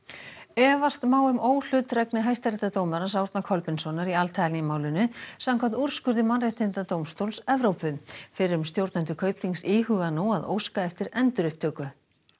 efast má um óhlutdrægni hæstaréttardómarans Árna Kolbeinssonar í Al málinu samkvæmt úrskurði Mannréttindadómstóls Evrópu fyrrum stjórnendur Kaupþings íhuga nú að óska eftir endurupptöku